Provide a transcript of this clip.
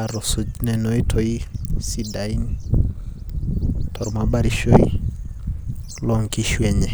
atusuj nena oitoi sidain tormabarishoi, lonkishu enye.